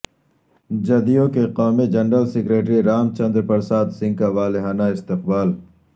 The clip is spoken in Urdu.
جدیو کے قومی جنرل سکریٹری رام چندر پرساد سنگھ کا والہانہ استقبال